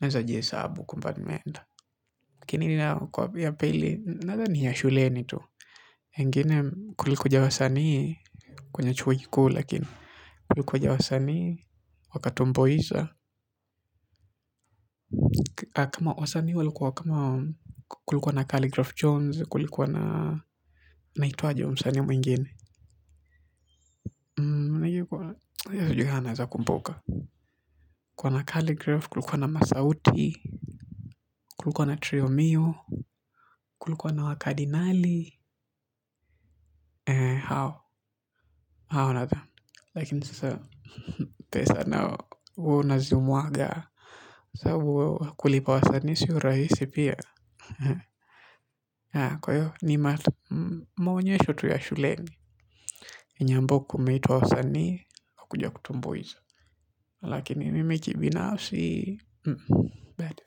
Naeza jie hesabu kwamba nimeenda. Kinini nao kwa pia pili, nadhani ni ya shuleni tu. Ingine kulikuja wasanii kwenye chuo kikuu, lakini. Kulikuja wasanii, wakatomboiza. Kama wasani walikuwa kama kulikuwa na Kaligraph Jones, kulikuwa na, naitwaje huyu msani mwingine? Mnagikuwa, ya sijuhi kaa naeza kumbuka. Kuwa na Kaligraph, kulikuwa na Masauti, kulikuwa na Triomio, kulikuwa na Wakadinali. Hao, hao na tha. Lakin sasa, pesa nao woo nazi mwaga. Saabu kulipa wasanii sio rahisi pia. Kwa hiyo ni maonyesho tu ya shuleni, yenye ambao kumeitwa wasanii, hukuja kutumboiza. Lakini mimi kibinafsi, badu.